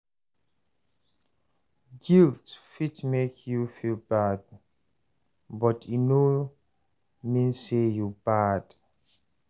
Guilt fit mek yu feel bad, but e no mean say yu bad